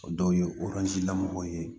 O dɔw ye lamɔgɔ ye